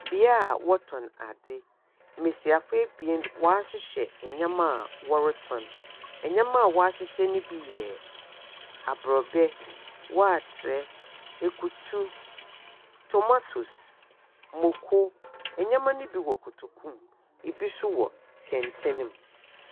Beaeɛ wɔtɔn adze. Mmesiafo bien wɔahyehyɛ nnoɔma ɔretɔn. Nneɛma wɔahyehyɛ no bi yɛ abrɔbɛ, wɔatere, ekutu, tomatoes, mako. Ɛneɛma no bi wɔ kotoku mu. Ebi nso wɔ kɛntɛn.